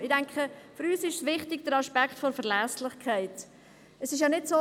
Ich denke, für uns ist der Aspekt der Verlässlichkeit wichtig.